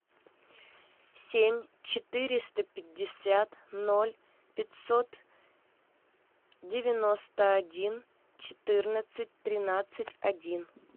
семь четыреста пятьдесят ноль пятьсот девяносто один четырнадцать тринадцать один